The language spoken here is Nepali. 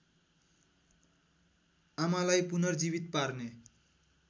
आमालाई पुनर्जीवित पार्ने